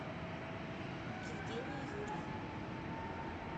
евгении юрьевне